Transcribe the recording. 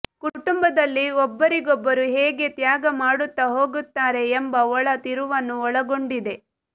ಕುಟುಂಬದಲ್ಲಿ ಒಬ್ಬರಿಗೊಬ್ಬರು ಹೇಗೆ ತ್ಯಾಗ ಮಾಡುತ್ತಾ ಹೋಗುತ್ತಾರೆ ಎಂಬ ಒಳ ತಿರುವನ್ನು ಒಳಗೊಂಡಿದೆ